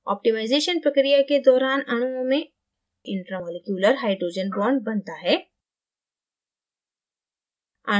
optimisation प्रक्रिया के दौरान अणुओं में intraमॉलिक्यूलर hydrogen bond बनता है